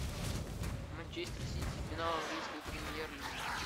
манчестер сити финал английской премьер лиги